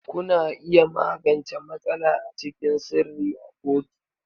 Kuna iya magance matsala a cikin sirri a kotu.